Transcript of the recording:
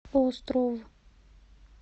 остров